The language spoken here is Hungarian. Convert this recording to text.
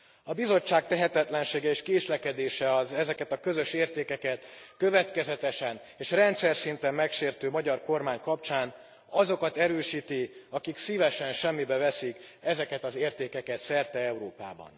A Bizottság tehetetlensége és késlekedése az ezeket a közös értékeket következetesen és rendszerszinten megsértő magyar kormány kapcsán azokat erősíti, akik szívesen semmibe veszik ezeket az értékeket szerte Európában.